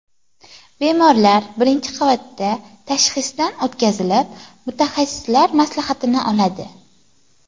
Bemorlar birinchi qavatda tashxisdan o‘tkazilib, mutaxassislar maslahatini oladi.